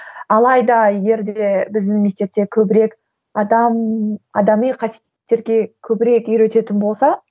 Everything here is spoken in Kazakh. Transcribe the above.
алайда егер де біздің мектепте көбірек адам адами қасиеттерге көбірек үйрететін болса